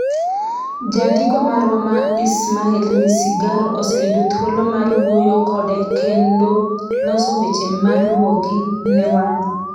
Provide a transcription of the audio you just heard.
Jandiko marwa ma Ismail Misigaro oseyudo thuolo mar wuoyo kode kendo loso weche maluwogi ne wan.